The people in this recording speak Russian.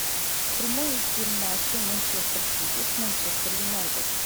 прямой эфир матча манчестер сити с манчестер юнайтед